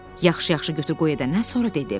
Yaxşı-yaxşı götür-qoy edəndən sonra dedi.